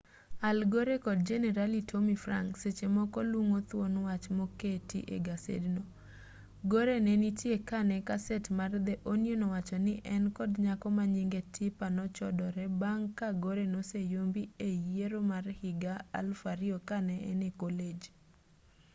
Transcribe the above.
al gore kod jenerali tommy franks seche moko lungo thuon wach moket egasedno gore nenitie kanee kaset mar the onion owacho ni en kod nyako manyinge tipper nechodore bang' ka gore noseyombi eyiero mar higa 2000 kane en e colej